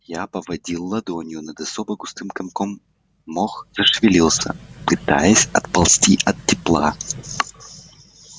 я поводил ладонью над особо густым комком мох зашевелился пытаясь отползти от тепла